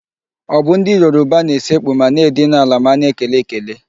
Ọ bụ ndị Yoruba na-esekpu ma na-edina ala ma a na-ekele ekele?